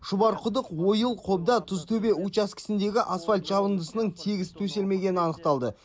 шұбарқұдық ойыл қобда тұзтөбе учаскесіндегі асфальт жабындысының тегіс төселмегені анықталды